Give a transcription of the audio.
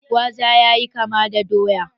Gwaza ya yi kama da doya.